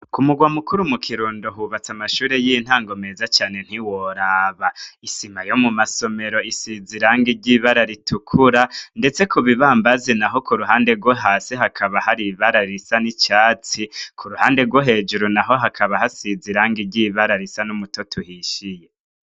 Ku mugwa mukuru mu kirundo hubatse amashure y'intango meza cane ntiworaba isima yo mu masomero isiza irange ry'ibara ritukura, ndetse ku bibambazi na ho ku ruhande rwo hasi hakaba hari iibara risa n'icatsi ku ruhande rwo hejuru na ho hakaba hasiza irange ryibara risa n'umutoto uhishiye.